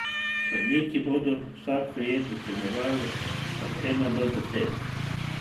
Sodniki bodo vsako jed ocenjevali od ena do deset.